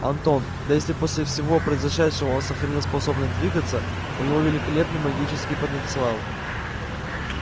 антон да если после всего произошедшего он сохранил способность двигаться у него великолепный магический потенциал